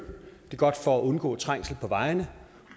det er godt for at undgå trængsel på vejene